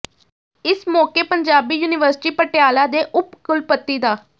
ਇਸ ਮੌਕੇ ਪੰਜਾਬੀ ਯੂਨੀਵਰਸਿਟੀ ਪਟਿਆਲਾ ਦੇ ਉਪ ਕੁਲਪਤੀ ਡਾ